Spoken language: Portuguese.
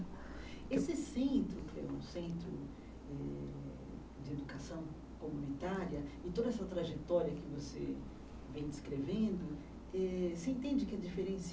Esse centro, que é um centro eh de educação comunitária, e toda essa trajetória que você vem descrevendo, eh você entende que é diferenci